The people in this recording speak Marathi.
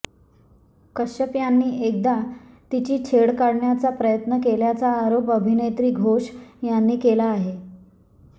कश्यप यांनी एकदा तिची छेड काढण्याचा प्रयत्न केल्याचा आरोप अभिनेत्री घोष यांनी केला आहे